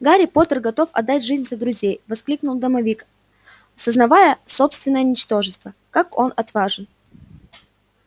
гарри поттер готов отдать жизнь за друзей воскликнул домовик сознавая собственное ничтожество как он отважен